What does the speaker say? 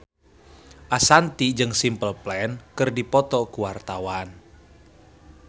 Ashanti jeung Simple Plan keur dipoto ku wartawan